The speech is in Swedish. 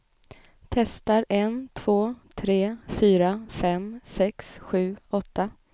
Testar en två tre fyra fem sex sju åtta.